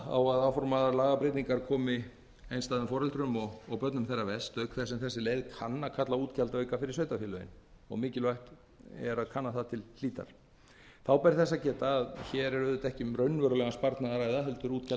munu áformaðar lagabreytingar koma einstæðum foreldrum og börnum þeirra verst auk þess sem þessi leið kann að kalla á útgjaldaauka fyrir sveitarfélögin þá ber þess að geta að hér er ekki um raunverulegan sparnað að ræða heldur er útgjöldum frestað